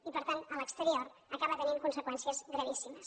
i per tant a l’exterior acaba tenint conseqüències gravíssimes